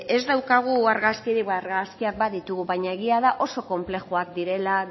ez daukagu argazkirik argazkiak baditugu baina egia da oso konplexua direla